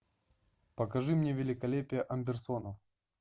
покажи мне великолепие андерсонов